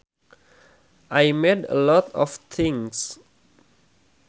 I made a lot of things